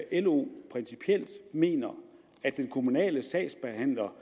at lo principielt mener at den kommunale sagsbehandler